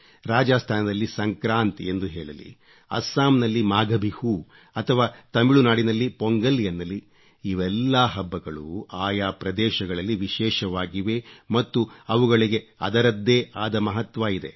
ರಾಜಾಸ್ಥಾನದಲ್ಲಿ ಸಂಕ್ರಾಂತ್ ಎಂದು ಹೇಳಲಿ ಅಸ್ಸಾಂ ನಲ್ಲಿ ಮಾಘಬಿಹೂ ಅಥವಾ ತಮಿಳುನಾಡಿನಲ್ಲಿ ಪೊಂಗಲ್ ಎನ್ನಲಿ ಇವೆಲ್ಲಾ ಹಬ್ಬಗಳೂ ಆಯಾ ಪ್ರದೇಶಗಳಲ್ಲಿ ವಿಶೇಷವಾಗಿವೆ ಮತ್ತು ಅವುಗಳಿಗೆ ಅದರದ್ದೇ ಆದ ಮಹತ್ವ ಇದೆ